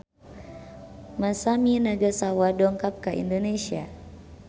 Masami Nagasawa dongkap ka Indonesia